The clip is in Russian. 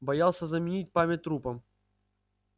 боялся заменить память трупом